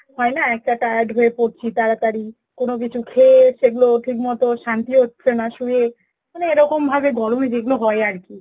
হয়েনা একটা টায়রা হয়ে পরছি তারা তারই, কোনো কিছু খেয়ে সেগুলো ঠিক মত শান্তি হচ্ছে না সুয়ে, মানে এইরকম ভাবে গরম এ যেগুলো হয়ে আরকি